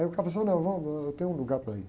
Aí o cara falou, não, vamos, eu tenho um lugar para ir.